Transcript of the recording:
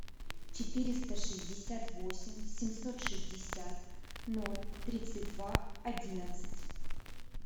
четыреста шестьдесят восемь семьсот шестьдесят ноль тридцать два одиннадцать